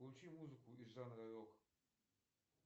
включи музыку из жанра рок